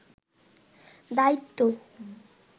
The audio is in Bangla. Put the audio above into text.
দায়িত্ব